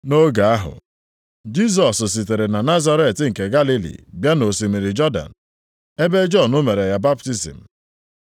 Nʼoge ahụ, Jisọs sitere na Nazaret nke Galili bịa nʼosimiri Jọdan, ebe Jọn mere ya baptizim.